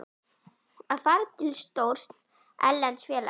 Að fara til stórs erlends félags?